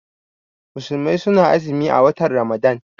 Musulmai su na azumi a watan Ramadan